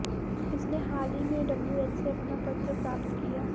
उसने हाल ही में डब्ल्यूएच से अपना पत्र प्राप्त किया